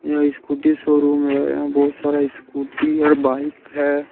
यह scooty showroom है यहां बहुत सारा स्कूटी और बाइक है।